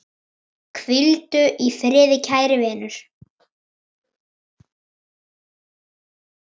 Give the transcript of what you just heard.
Útbúið kálið á meðan.